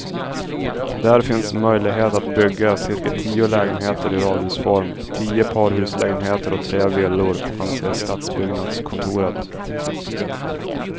Där finns möjlighet att bygga cirka tio lägenheter i radhusform, tio parhuslägenheter och tre villor, anser stadsbyggnadskontoret.